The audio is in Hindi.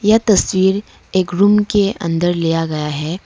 यह तस्वीर एक रूम के अंदर लिया गया है।